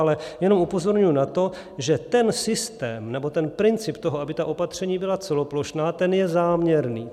Ale jenom upozorňuji na to, že ten systém nebo ten princip toho, aby ta opatření byla celoplošná, ten je záměrný.